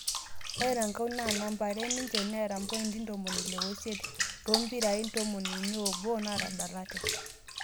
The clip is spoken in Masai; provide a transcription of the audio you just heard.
Ore erankau naa namba are ninje neeta pointi 68 toompiri 31 naatafdalate